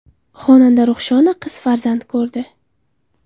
Xonanda Ruhshona qiz farzand ko‘rdi.